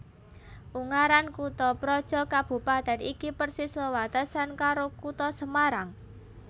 Ungaran kuthaprojo kabupatèn iki persis wewatesan karo Kutha Semarang